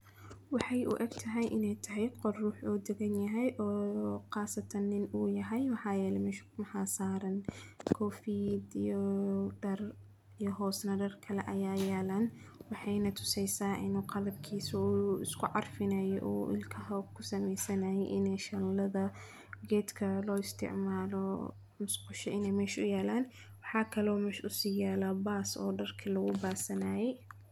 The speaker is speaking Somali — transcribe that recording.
Waxay u eg tahay inay tahay qod ruux oo degan yahay oo khaasatan inuu yahay waxyaalo meeshu. Maxaa saaran koofti diiwaan dar iyo hoosna dar kale ayaa yaalaan. Waxay natusay saa inuu qalabkiisu uu isku carfinayo uu ilkaha ku samaysanaya inee shanlada geedka loo isticmaalo musqusha inee meeshu yaalaan. Waxaa kaloo meeshu si yaala baas oo dalka lagu baasanayay.